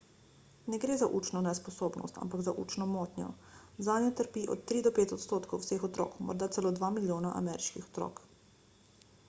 ne gre za učno nesposobnost ampak za učno motnjo zanjo trpi od 3 do 5 odstotkov vseh otrok morda celo 2 milijona ameriških otrok